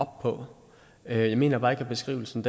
op på jeg mener bare ikke at beskrivelsen